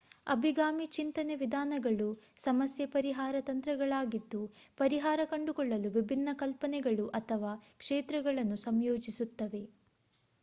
ಅಭಿಗಾಮಿ ಚಿಂತನೆ ವಿಧಾನಗಳು ಸಮಸ್ಯೆ ಪರಿಹಾರ ತಂತ್ರಗಳಾಗಿದ್ದು ಪರಿಹಾರ ಕಂಡುಕೊಳ್ಳಲು ವಿಭಿನ್ನ ಕಲ್ಪನೆಗಳು ಅಥವಾ ಕ್ಷೇತ್ರಗಳನ್ನು ಸಂಯೋಜಿಸುತ್ತವೆ